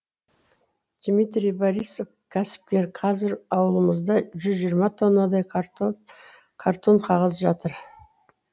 дмитрий борисов кәсіпкер қазір аулымызда жүз жиырма тоннадай картон қағаз жатыр